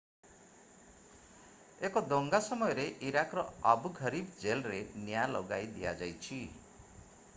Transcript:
ଏକ ଦଙ୍ଗା ସମୟରେ ଇରାକର ଆବୁ ଘରିବ୍ ଜେଲରେ ନିଆଁ ଲଗାଇ ଦିଆଯାଇଛି